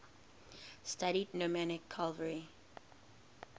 studied nomadic cavalry